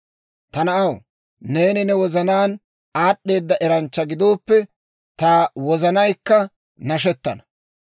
Ta na'aw, neeni ne wozanaan aad'd'eeda eranchcha gidooppe, ta wozanaykka nashettana;